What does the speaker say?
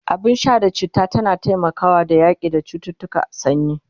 abun Sha na chitta tana taimakawa da yaƙi da cuttutukan sanyi